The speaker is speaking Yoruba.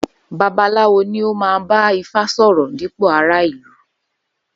Babaláwo ní ó ma bá ifá sòrò dípò ará ìlú